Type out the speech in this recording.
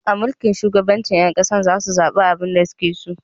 A mulkin shugabanci, 'yan kasar za su zabi wanda su ke so